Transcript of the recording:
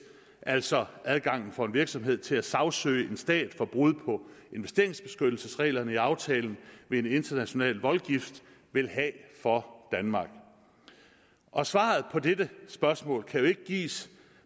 altså adgangen for en virksomhed til at sagsøge en stat for brud på investeringsbeskyttelsesreglerne i aftalen ved en international voldgiftsret vil have for danmark og svaret på dette spørgsmål kan jo ikke gives